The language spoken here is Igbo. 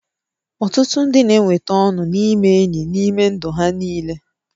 Ọtụtụ ndị na-enweta ọṅụ n'ime enyi n'ime ndụ ha niile